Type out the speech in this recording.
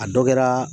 A dɔ kɛraa